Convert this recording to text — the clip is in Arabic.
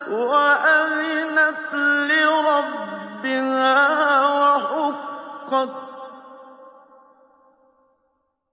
وَأَذِنَتْ لِرَبِّهَا وَحُقَّتْ